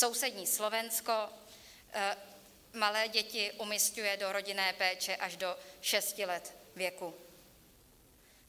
Sousední Slovensko malé děti umisťuje do rodinné péče až do šesti let věku.